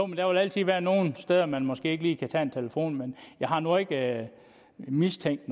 vil altid være nogle steder man måske ikke lige kan tage en telefon men jeg har nu ikke mistænkt